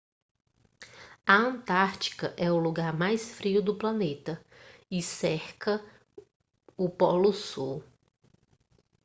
a antártica é o lugar mais frio do planeta e cerca o polo sul